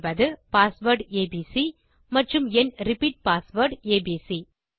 சொல்வது password A B C மற்றும் என் ரிப்பீட் பாஸ்வேர்ட் ஏபிசி